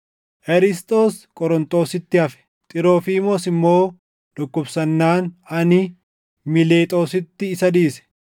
Erisxoos Qorontositti hafe; Xiroofiimoos immoo dhukkubsannaan ani Miilexoositti isa dhiise.